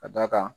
Ka d'a kan